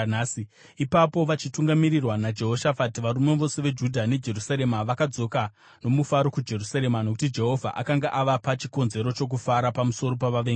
Ipapo vachitungamirirwa naJehoshafati, varume vose veJudha neJerusarema vakadzoka nomufaro kuJerusarema, nokuti Jehovha akanga avapa chikonzero chokufara pamusoro pavavengi vavo.